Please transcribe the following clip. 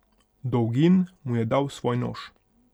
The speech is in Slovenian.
Dolgin mu je dal svoj nož.